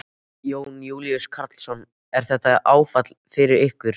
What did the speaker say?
Jón Júlíus Karlsson: Er þetta áfall fyrir ykkur?